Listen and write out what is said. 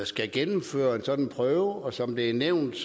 skal gennemføre en sådan prøve og som det er nævnt